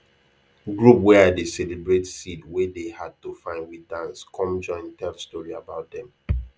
group wey i dey celebrate seed wey dey hard to find with dance com join tell story about dem